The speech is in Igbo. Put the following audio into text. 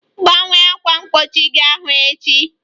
Gbanwee ákwà mgbochi ahụ echi!